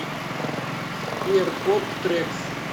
сбер поп трекс